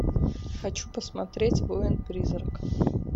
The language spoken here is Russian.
хочу посмотреть воин призрак